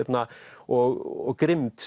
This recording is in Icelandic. og grimmd